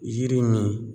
Yiri min